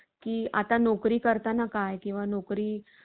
की आता नोकरी करताना काय किंवा नोकरी